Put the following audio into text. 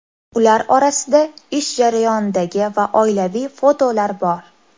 Ular orasida ish jarayonidagi va oilaviy fotolar bor.